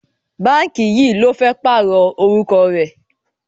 Báǹkì yìí ló fẹ́ pààrọ̀ orúkọ rẹ̀.